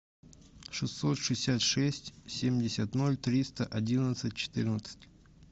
шестьсот шестьдесят шесть семьдесят ноль триста одиннадцать четырнадцать